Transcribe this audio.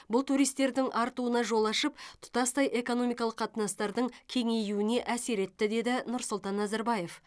бұл туристердің артуына жол ашып тұтастай экономикалық қатынастардың кеңеюіне әсер етті деді нұрсұлтан назарбаев